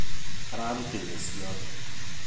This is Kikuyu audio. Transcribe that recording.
Arĩrutĩire ciothe.